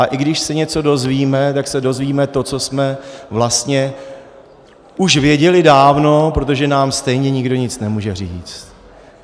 A i když se něco dozvíme, tak se dozvíme to, co jsme vlastně už věděli dávno, protože nám stejně nikdo nemůže nic říct.